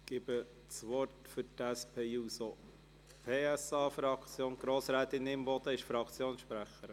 – Ich gebe das Wort für die SP-JUSO-PSA-Fraktion ... Ist Grossrätin Imboden Fraktionssprecherin?